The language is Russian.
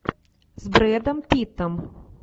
с брэдом питтом